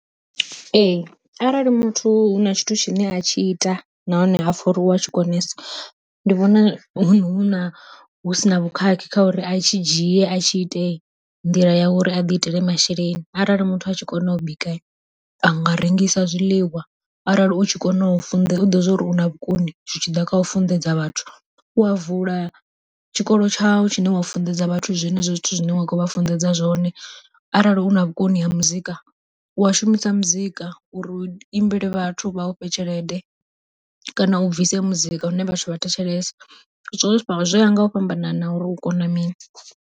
Ee arali muthu huna tshithu tshine a tshi ita nahone apfha uri u a tshi konesa, ndi vhona huna hu si na vhukhakhi kha uri a tshi dzhie a tshi ite nḓila ya uri a ḓi itele masheleni, arali muthu a tshi kona u bika a nga rengisa zwiḽiwa arali u tshi kona u funḓedza u tshi ḓivha uri una vhukoni zwi tshi ḓa kha u funḓedza vhathu u a vula tshikolo tshau tshine wa funḓedza vhathu zwenezwo zwithu zwine wa kho vha funḓedza zwone. Arali una vhukoni ha muzika u a shumisa muzika uri u imbele vhathu vha ufhe tshelede kana u bvise muzika une vhathu vha thetshelesa zwo vha zwoya nga u fhambanana uri u kona mini.